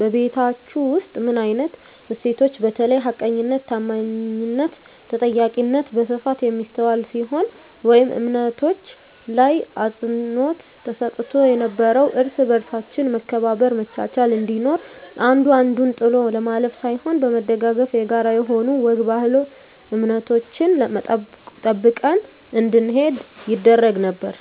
በቤታቹ ውስጥ ምን አይነት እሴቶች በተለይ ሀቀኝነት ታአማኒትና ተጠያቂነት በስፋት የሚስተዋል ሲሆን ወይም እምነቶች ላይ አፅንዖት ተሰጥቶ ነበረው እርስ በርሳችን መከባበር መቻቻል እንዲኖር አንዱ አንዱን ጥሎ ለማለፍ ሳይሆን በመደጋገፍ የጋራ የሆኑ ወግ ባህል እምነቶችን ጠብቀን እንድንሄድ ይደረግ ነበር